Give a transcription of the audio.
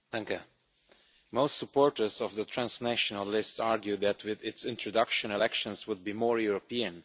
Madam President, most supporters of the transnational list argue that with its introduction, elections would be more European.